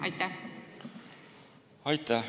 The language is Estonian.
Aitäh!